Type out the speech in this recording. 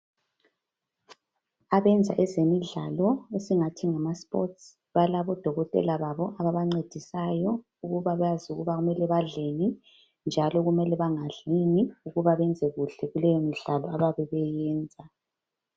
Abayenza ezemidlalo esingathi ngama sports balabo dokotela babo ababancedisayo ukuba bazi kumele badleni njalo kumele bangadlini ukuba benze kuhle kuleyo midlalo abayabe beyenza.